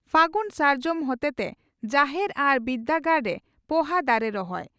ᱯᱷᱟᱹᱜᱩᱱ ᱥᱟᱨᱡᱚᱢ ᱦᱚᱛᱮᱛᱮ ᱡᱟᱦᱮᱨ ᱟᱨ ᱵᱤᱨᱫᱟᱹᱜᱟᱲᱨᱮ ᱯᱚᱦᱟ ᱫᱟᱨᱮ ᱨᱚᱦᱚᱭ